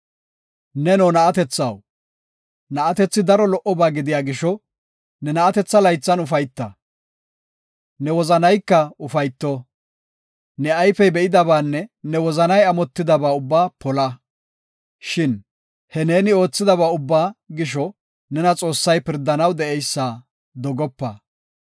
Neno na7atethaw, na7atethi daro lo77oba gidiya gisho ne na7atetha laythan ufayta; ne wozanayka ufayto. Ne ayfey be7idabaanne ne wozanay amotidaba ubbaa pola. Shin he neeni oothidaba ubbaa gisho nena Xoossay pirdanaw de7eysa dogopa.